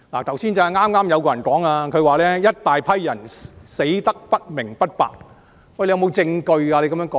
剛才就有議員說"一大批人死得不明不白"，他可有證據支持他的說法呢？